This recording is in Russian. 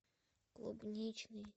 клубничный